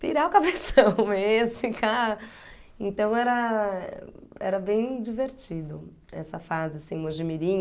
pirar o cabeção mesmo, ficar... Então era era bem divertido essa fase, assim,